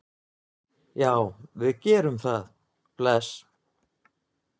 Já, við gerum það. Bless.